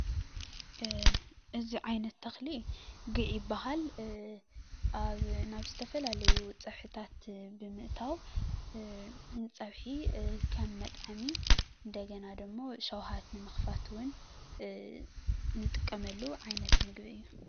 እዚ ዓይነት ተኽሊ ጒዕ ይበሃል። ኣብ ናብ ዝተፈላለዩ ፅብሕታት ብምእታው ንፀብሒ ከም መጥዐሚ እንደገና ድማ ሽውሃት ንምኽፋት እውን ንጥቀመሉ ዓይነት ምግቢ እዩ።